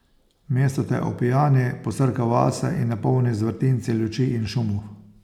Mesto te opijani, posrka vase in napolni z vrtinci luči in šumov.